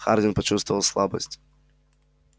хардин почувствовал слабость